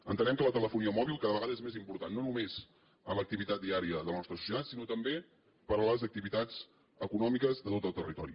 entenem que la telefonia mòbil cada vegada és més important no només en l’activitat diària de la nostra societat sinó també per les activitats econòmiques de tot el territori